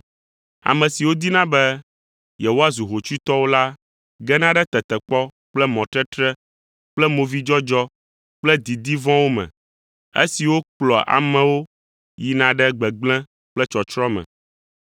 Ame siwo dina be yewoazu hotsuitɔwo la gena ɖe tetekpɔ kple mɔtetre kple movidzɔdzɔ kple didi vɔ̃wo me, esiwo kplɔa amewo yina ɖe gbegblẽ kple tsɔtsrɔ̃ me.